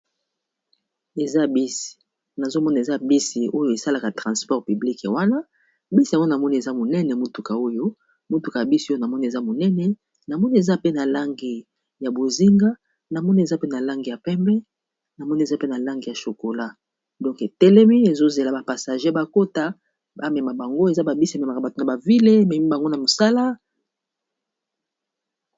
Eza bis nazomona eza bisi oyo esalaka transport publike wana bisi nawana moni eza monene motuka oyo motuka y bisi oyo na moni eza monene namoni eza pe na langi ya bozinga, na moni eza pe na langi ya pembe, namoni eza pe na langi ya chokola donke telemi ezozela bapassager bakota bamema bango eza babisi ememaka bato na bavile memi bango na mosala.